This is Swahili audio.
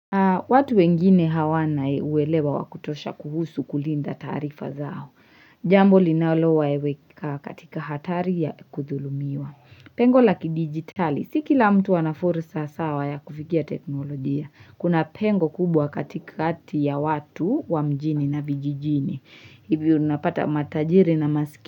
Watu wengine hawana uwelewa wakutosha kuhusu kulinda taarifa zao. Jambo linalo waweka katika hatari ya kudhulumiwa. Pengo laki digitali. Si kila mtu anafurusa sawa ya kufikia teknolojia. Kuna pengo kubwa kati kati ya watu wa mjini na vijijini. Ivi unapata matajiri na maskini.